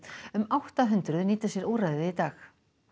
um átta hundruð nýta sér úrræðið í dag